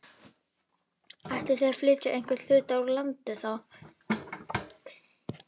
Ætlið þið að flytja einhvern hluta úr landi þá?